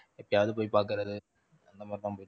எப்பயாவது போய் பாக்கறது அந்த மாதிரி தான் போயிட்டிருக்கு.